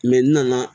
n nana